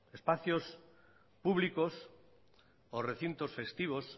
espacios públicos o recintos festivos